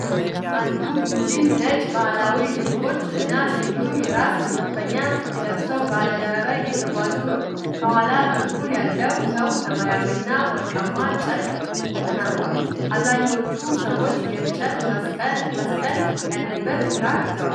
አንድ ቡድን ነጭ ባህላዊ ልብሶች እና ልዩ የራስ መሸፈኛ ለብሰው በአደባባይ እየተጓዙ ነው። ከኋላ በኩል ያለው ሰው ሰማያዊና ወርቃማ ጨርቅ ተከናንቧል። አብዛኞቹ ሰዎች የእንጨት መስቀል ያለበትን ክራር ይዘዋል።